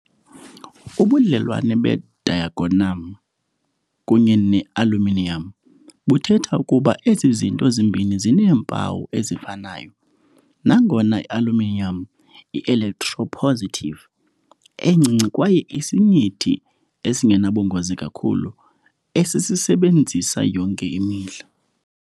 Ubudlelwane be-diagonam kunye ne -aluminiyam buthetha ukuba ezi zinto zimbini zineempawu ezifanayo, nangona i-aluminiyam i-electropositive encinci kwaye isinyithi esingenabungozi kakhulu esisisebenzisa yonke imihla.